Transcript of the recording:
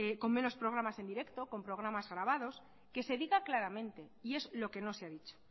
con menos programas en directo con programas grabados que se diga claramente y es lo que no se ha dicho